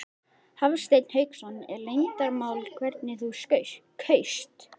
Hafsteinn Hauksson: Er leyndarmál hvernig þú kaust?